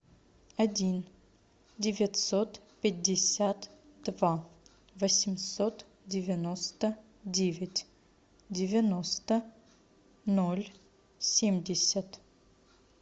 один девятьсот пятьдесят два восемьсот девяносто девять девяносто ноль семьдесят